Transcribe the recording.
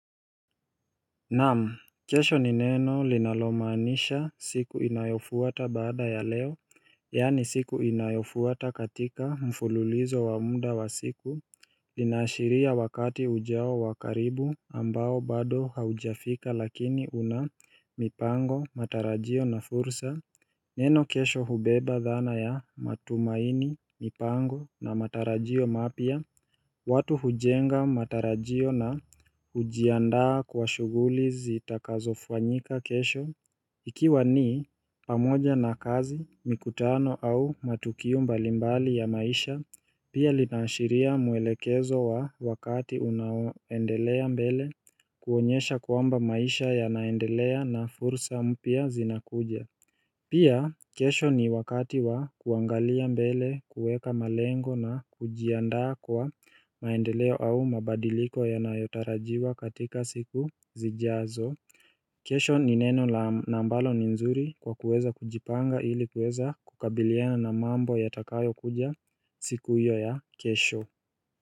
Naamu, kesho ni neno linalomaanisha siku inayofuata baada ya leo Yani siku inayofuata katika mfululizo wa mda wa siku Linaashiria wakati ujao wa karibu ambao bado haujafika lakini una mipango, matarajio na fursa Neno kesho hubeba dhana ya matumaini, mipango na matarajio mapya watu hujenga matarajio na hujiandaa kwa shuguli zitakazofuanyika kesho Ikiwa ni pamoja na kazi mikutano au matukio mbalimbali ya maisha Pia linaashiria mwelekezo wa wakati unaoendelea mbele kuonyesha kwamba maisha ya naendelea na fursa mpya zinakuja Pia kesho ni wakati wa kuangalia mbele kuweka malengo na kujiandaa kwa maendeleo au mabadiliko yanayotarajiwa katika siku zijazo kesho ni neno na ambalo ni nzuri kwa kuweza kujipanga ili kuweza kukabiliana na mambo yatakayo kuja siku iyo ya kesho.